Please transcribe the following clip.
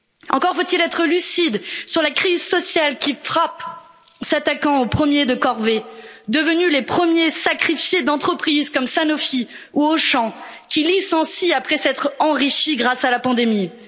Encore faut il être lucide sur la crise sociale qui frappe, s'attaquant aux premiers de corvée, devenus les premiers sacrifiés d'entreprises comme Sanofi ou Auchan, qui licencient après s'être enrichis grâce à la pandémie.